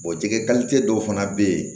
jɛgɛ dɔw fana bɛ yen